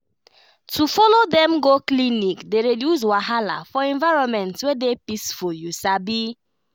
to follow dem go clinic dey reduce wahala for environment wey dey peaceful you sabi